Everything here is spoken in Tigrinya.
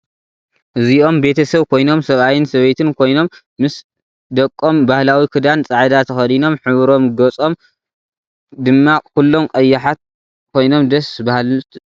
እዞም በተሰብ ኮይኖም ሰባአይን ሰበይትን ኾይኖም ምስ ደቆም ባህላዊ ክዳን ፃዕዳ ተክዲኖም ሕብሮም ገፆም ድማ ኩሎም ቀያሓት ኮይኖም ደስ ባሃልት እዮም